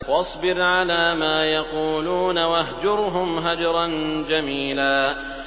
وَاصْبِرْ عَلَىٰ مَا يَقُولُونَ وَاهْجُرْهُمْ هَجْرًا جَمِيلًا